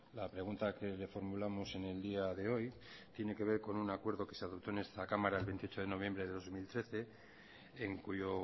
la pregunta que le formulamos en el día de hoy tiene que ver con un acuerdo que se adoptó en esta cámara el veintiocho de noviembre de dos mil trece en cuyo